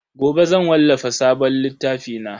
Gobe zan wallafa sabon littafi na.